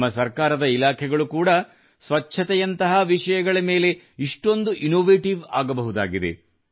ನಮ್ಮ ಸರ್ಕಾರದ ಇಲಾಖೆಗಳು ಕೂಡಾ ಸ್ವಚ್ಛತೆಯಂತಹ ವಿಷಯಗಳ ಮೇಲೆ ಇಷ್ಟೊಂದು ಇನ್ನೋವೇಟಿವ್ ಆಗಬಹುದಾಗಿದೆ